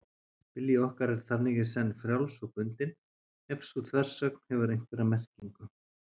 Vilji okkar er þannig í senn frjáls og bundinn, ef sú þversögn hefur einhverja merkingu.